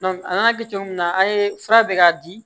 an y'a kɛ cogo min na an ye fura bɛ k'a di